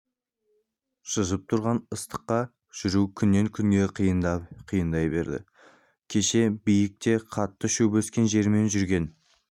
шыжып тұрған ыстықта жүру күннен күнге қиындай берді кеше биік те қатты шөп өскен жермен жүрген